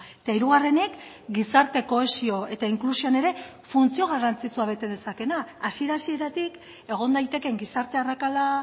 eta hirugarrenik gizarte kohesio eta inklusioan ere funtzio garrantzitsua bete dezakeena hasiera hasieratik egon daitekeen gizarte arrakala